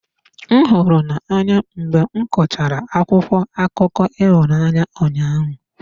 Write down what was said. M hụrụ n'anya mgbe m gụchara akwụkwọ akụkọ ịhụnanya ụnyahụ.